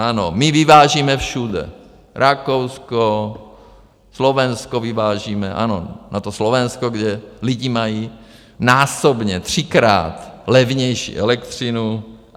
Ano, my vyvážíme všude - Rakousko, Slovensko, vyvážíme, ano, na to Slovensko, kde lidi mají násobně, třikrát levnější elektřinu.